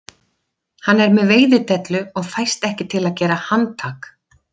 Hann er með veiðidellu og fæst ekki til að gera handtak